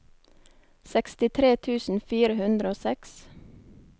sekstitre tusen fire hundre og seks